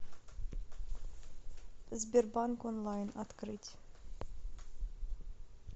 сбербанк онлайн открыть